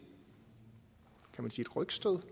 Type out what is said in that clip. rygstød